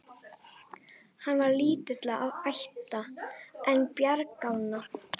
Hann var lítilla ætta, en bjargálna.